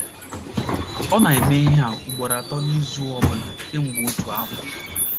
Ọ na - eme ihe a ugboro atọ n’izu ọ bụla kemgbe otu afọ.